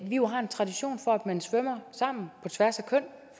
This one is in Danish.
jo har en tradition for at man svømmer sammen på tværs af køn